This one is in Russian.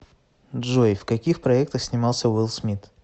джой в каких проектах снимался уилл смит